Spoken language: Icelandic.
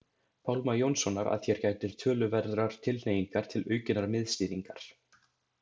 Pálma Jónssonar að hér gætir töluverðrar tilhneigingar til aukinnar miðstýringar.